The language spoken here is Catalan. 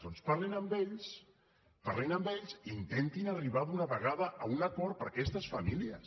doncs parlin amb ells parlin amb ells i intentin arribar d’una vegada a un acord per a aquestes famílies